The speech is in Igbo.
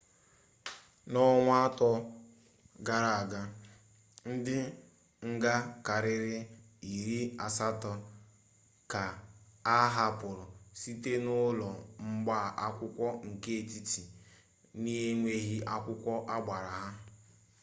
n'ọnwa ato gara-aga ndi nga karịrị iri asatọ ka a hapụrụ site n'ụlọ mgba akwụkwọ nke etiti n'enweghị akwụkwọ agbara ha